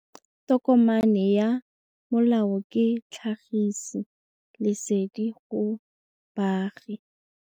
Tokomane ya molao ke tlhagisi lesedi go baagi.